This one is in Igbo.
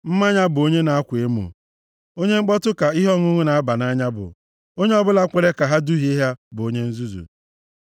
Mmanya bụ onye na-akwa emo. Onye mkpọtụ ka ihe ọṅụṅụ na-aba nʼanya bụ. Onye ọbụla kwere ka ha duhie ya bụ onye nzuzu.